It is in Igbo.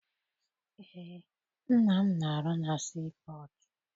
Eé, nna m na- arụ na sii pọtụ.